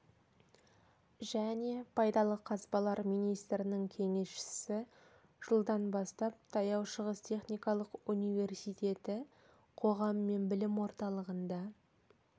және пайдалы қазбалар министрінің кеңесшісі жылдан бастап таяу шығыс техникалық университеті қоғам мен білім орталығында